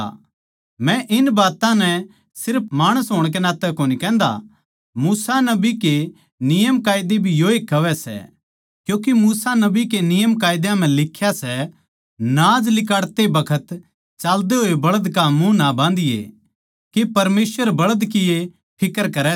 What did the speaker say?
मै इन बात्तां नै सिर्फ माणस होण के नाते कोनी कहन्दा मूसा नबी के नियमकायदे भी योए कहवै सै क्यूँके मूसा नबी के नियमकायदे म्ह लिख्या सै नाज लिकाड़ते बखत चाल्दे होए बळ्ध का मुँह न्ही बाँधणा के परमेसवर बळ्धां की ए फिक्र करै सै